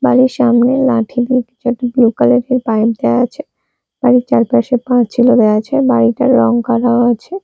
বাড়ির সামনে লাঠি দিয়ে কিছু একটা ব্লু কালার -এর বাইর দেয়া আছে বাড়ির চারপাশে পাঁচিলও দেয়া আছে আর বাড়িটার রং করাও আছে।